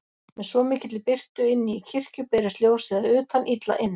Með svo mikilli birtu inni í kirkju berist ljósið að utan illa inn.